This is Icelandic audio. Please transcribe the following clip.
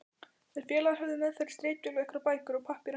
Þeir félagar höfðu meðferðis ritvél og einhverjar bækur og pappíra.